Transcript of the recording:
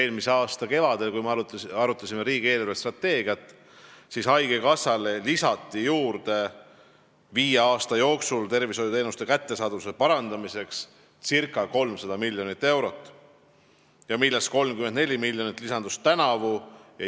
Eelmise aasta kevadel, kui me arutasime riigi eelarvestrateegiat, lisati haigekassale viie aasta jooksul tervishoiuteenuste kättesaadavuse parandamiseks ca 300 miljonit eurot, millest 34 miljonit lisandus tänavu.